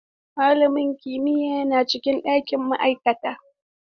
Malamin kimiyya yana cikin ɗakin ma'aikata.